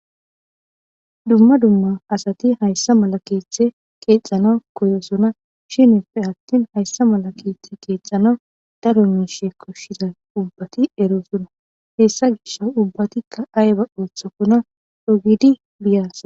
dumma dumma asati hayssa mala keeththe qeexana koyosona shinife attin hayssa mala keeththe qeexana daro miishe koshshida ubbati eroosona hessa gish ubbatikka ayba ooththakona ogidi biyas